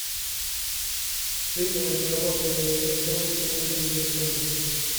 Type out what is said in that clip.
встреча между командами эвертон и ливерпуль